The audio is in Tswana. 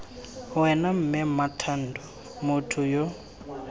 wena mme mmathando motho yo